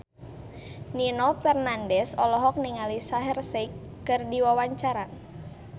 Nino Fernandez olohok ningali Shaheer Sheikh keur diwawancara